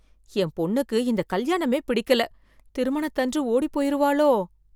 என் பொண்ணுக்கு இந்த கல்யாணமே பிடிக்கல திருமணத்து அன்று ஓடி போயிருவாளோ